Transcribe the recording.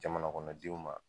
Jamanakɔnɔdenw ma.